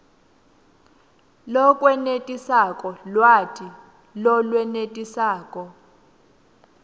lokwenetisako lwati lolwenetisako